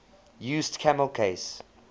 used camel case